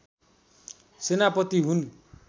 सेनापति हुन्